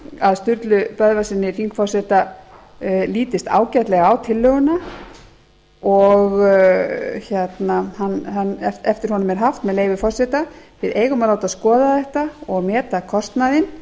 að sturlu böðvarssyni þingforseta lítist ágætlega á tillöguna og eftir honum er haft með leyfi forseta við eigum að skoða þetta og meta kostnaðinn